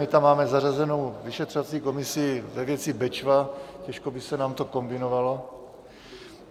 My tam máme zařazenou vyšetřovací komisi ve věci Bečva, těžko by se nám to kombinovalo.